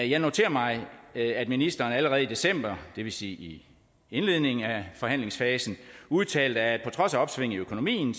jeg noterer mig at ministeren allerede i december det vil sige i indledningen af forhandlingsfasen udtalte at der på trods af opsvinget i økonomien